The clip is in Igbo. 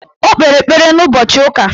O kpere ekpere n'ụbọchị ụka